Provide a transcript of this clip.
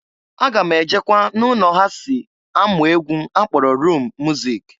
Aga m ejekwa na ụnọ ha si amụ egwu a kpọrọ rum muzik.